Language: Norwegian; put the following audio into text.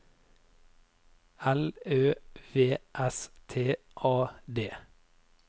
L Ø V S T A D